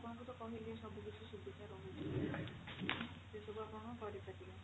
ଆପଣଙ୍କୁ ତ କହିଲି ସବୁ କିଛି ସୁବିଧା ରହୁଛି ସେ ସବୁ ଆପଣ କରି ପାରିବେ